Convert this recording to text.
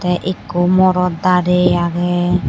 te ekko morot dare aage.